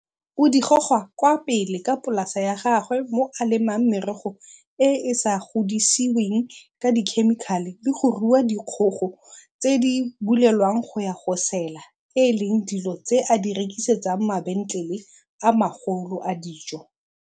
o di goga kwa pele ka polasa ya gagwe mo a lemang merogo e e sa godisiweng ka dikhemikhale le go rua dikgogo tse di bulelwang go ya go sela e leng dilo tse a di rekisetsang mabentlele a magolo a dijo.